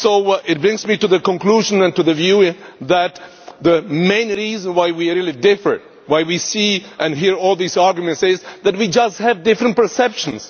This brings me to the conclusion and to the view that the main reason why we differ, why we see and hear all these arguments, is that we just have different perceptions.